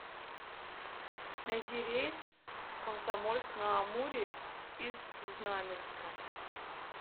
найди рейс в комсомольск на амуре из знаменска